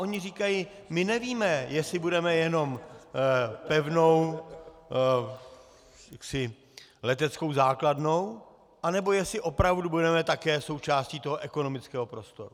Oni říkají: My nevíme, jestli budeme jenom pevnou leteckou základnou, nebo jestli opravdu budeme také součástí toho ekonomického prostoru.